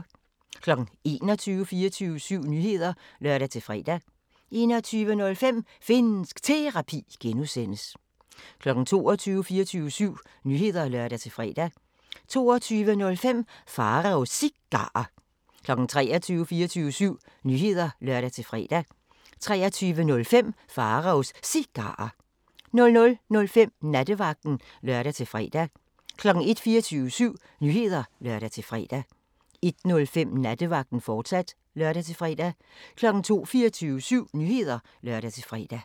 21:00: 24syv Nyheder (lør-fre) 21:05: Finnsk Terapi (G) 22:00: 24syv Nyheder (lør-fre) 22:05: Pharaos Cigarer 23:00: 24syv Nyheder (lør-fre) 23:05: Pharaos Cigarer 00:05: Nattevagten (lør-fre) 01:00: 24syv Nyheder (lør-fre) 01:05: Nattevagten, fortsat (lør-fre) 02:00: 24syv Nyheder (lør-fre)